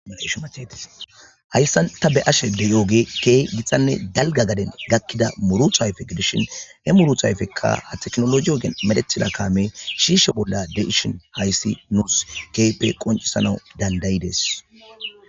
Haysan ta be ashe deyooge keeh gitanne dalga gaden gakkida muruta ayfe gidishin he muru thayfekka ha teknoloje ogen medethila kaamey shiisho bolla de,ishin hayssi nuus keehippe qoncisana dandayides